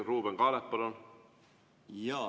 Ruuben Kaalep, palun!